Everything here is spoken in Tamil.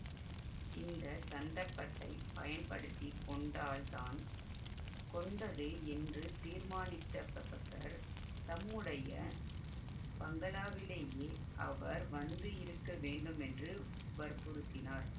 இந்த சந்தர்ப்பத்தை பயன்படுத்தி கொண்டால்தான் கொண்டது என்று தீர்மானித்த புரொபஸர் தம்முடைய பங்களாவிலேயே அவர் வந்து இருக்க வேண்டுமென்று வற்புறுத்தினார்